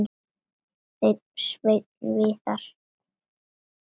Þinn Sveinn Viðar.